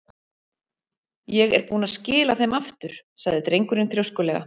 Ég er búinn að skila þeim aftur- sagði drengurinn þrjóskulega.